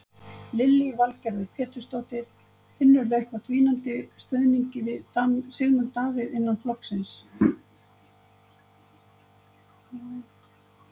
Lillý Valgerður Pétursdóttir: Finnurðu eitthvað dvínandi stuðningi við Sigmund Davíð innan flokksins?